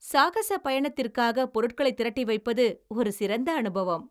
சாகசப் பயணத்திற்காக பொருட்களைத் திரட்டி வைப்பது ஒரு சிறந்த அனுபவம்.